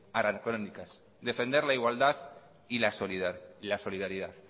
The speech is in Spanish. anacrónicas defender la igualdad y la solidaridad